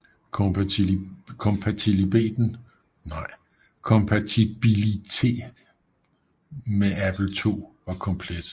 Kompatibilieten med Apple II var komplet